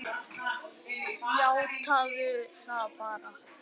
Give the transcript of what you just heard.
Játaðu það bara!